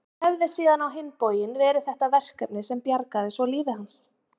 Það hefði síðan á hinn bóginn verið þetta verkefni sem bjargaði svo lífi hans.